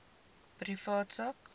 private sak